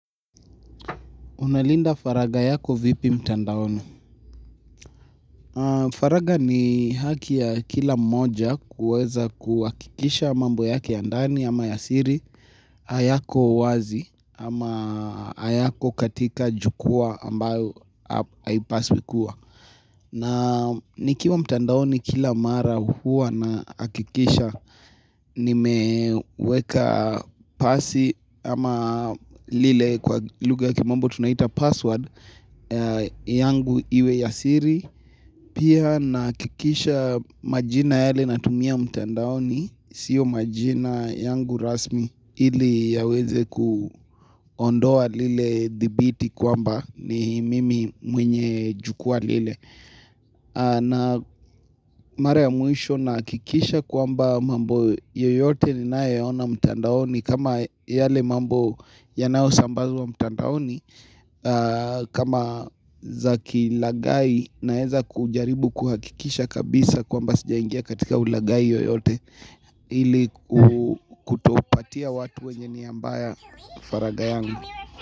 Unalinda faragha yako vipi mtandaoni? Faragha ni haki ya kila mmoja kuweza kuhakikisha mambo yake ya ndani ama yasiri, ayako wazi ama ayako katika jukwaa ambayo haipaswi kuwa. Na nikiwa mtandaoni kila mara huwa ninahakikisha, nimeweka pasi ama lile kwa lugha ya kimombo tunaita password, yangu iwe yasiri Pia ninahakikisha majina yale natumia mtandaoni siyo majina yangu rasmi ili yaweze kuondoa lile dhibiti kwamba ni mimi mwenye jukwaa lile na mara ya mwisho ninahakikisha kwamba mambo yoyote ninayo yaona mtandaoni kama yale mambo yanao sambazwa mtandaoni kama za kilaghai naweza kujaribu kuhakikisha kabisa kwa mba sijaingia katika ulaghai yoyote Hili kutopatia watu wenye nia mbaya faragha yangu.